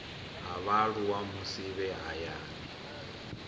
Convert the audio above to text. ha vhaaluwa musi vhe hayani